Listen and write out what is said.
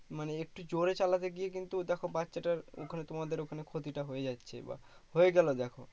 মানে একটু জোরে চালাতে গিয়ে কিন্তু দেখো বাচ্ছাটার ওখানে তোমাদের ওখানে ক্ষতিটা হয়ে যাচ্ছে বা হয়ে গেলো দেখো